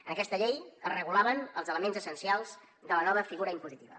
en aquesta llei es regulaven els elements essencials de la nova figura impositiva